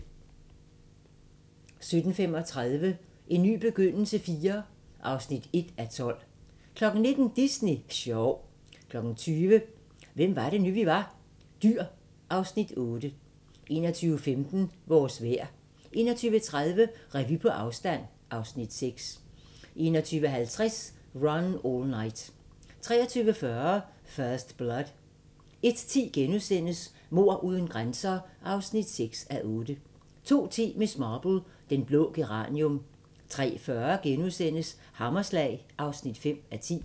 17:35: En ny begyndelse IV (1:12) 19:00: Disney sjov 20:00: Hvem var det nu, vi var? - Dyr (Afs. 8) 21:15: Vores vejr 21:30: Revy på afstand (Afs. 6) 21:50: Run All Night 23:40: First Blood 01:10: Mord uden grænser (6:8)* 02:10: Miss Marple: Den blå geranium 03:40: Hammerslag (5:10)*